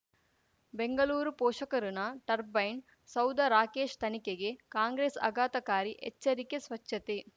ಬೆಂಗಳೂರು ಪೋಷಕರಋಣ ಟರ್ಬೈನ್ ಸೌಧ ರಾಕೇಶ್ ತನಿಖೆಗೆ ಕಾಂಗ್ರೆಸ್ ಆಘಾತಕಾರಿ ಎಚ್ಚರಿಕೆ ಸ್ವಚ್ಛತೆ